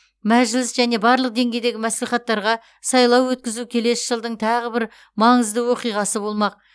мәжіліс және барлық деңгейдегі мәслихаттарға сайлау өткізу келесі жылдың тағы бір маңызды оқиғасы болмақ